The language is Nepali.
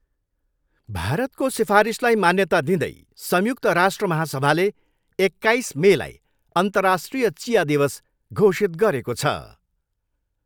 भारतको सिफारिसलाई मान्यता दिँदै संयुक्त राष्ट्र महासभाले एक्काइस मेलाई अन्तर्राष्ट्रिय चिया दिवस घोषित गरेको छ।